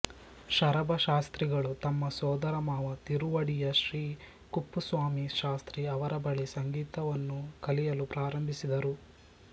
ಶರಭ ಶಾಸ್ತ್ರಿಗಳು ತಮ್ಮ ಸೊದರಮಾವ ತಿರುವಡಿಯ ಶ್ರೀ ಕುಪ್ಪುಸ್ವಾಮಿ ಶಾಸ್ತ್ರಿ ಅವರ ಬಳಿ ಸಂಗೀತವನ್ನು ಕಲಿಯಲು ಪ್ರಾರಂಭಿಸಿದರು